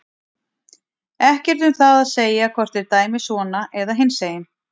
Ekkert um það að segja hvort þeir dæmi svona eða hinsegin.